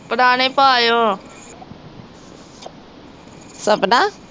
ਪੁਰਾਣੇ ਪਾ ਆਇਓ